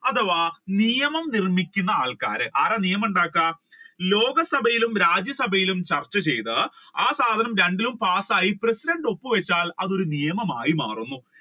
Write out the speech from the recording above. അഥവാ നിയമം നിർമിക്കുന്ന ആൾക്കാർ ആരാണ് നിയമം ഉണ്ടാക്കുക ലോക സഭയിലും രാജ്യ സഭയിലും ചർച്ച ചെയ്ത് ആ സാധനം രണ്ടിലും passayi ആയി president ഒപ്പ് വെച്ചാൽ അത് ഒരു നിയമമായി മാറും.